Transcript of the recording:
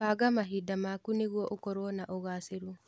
Banga mahinda maku nĩguo ũkorwo na ũgacĩru.